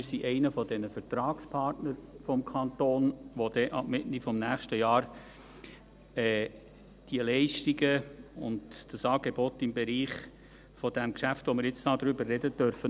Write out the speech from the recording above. Wir sind einer dieser Vertragspartner des Kantons, die dann, ab Mitte nächstes Jahr, diese Leistungen und das Angebot im Bereich des Geschäfts, über das wir jetzt sprechen, umsetzen dürfen.